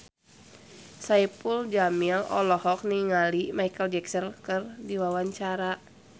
Saipul Jamil olohok ningali Micheal Jackson keur diwawancara